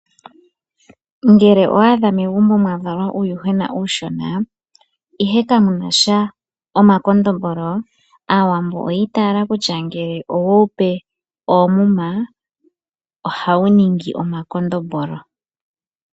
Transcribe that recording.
Ngele owaadha megumbo mwavalwa uuyuhwena uushona, ihe kamuna omakondombolo, Aawambo oyiitaala kutya ngele oweupe oomuma, ohawu ningi omakondombolo.